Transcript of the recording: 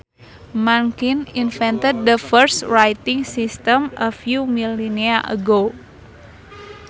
Mankind invented the first writing systems a few millennia ago